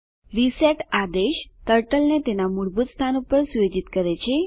reset આદેશ turtle ને તેના મૂળભૂત સ્થાન પર સુયોજિત કરે છે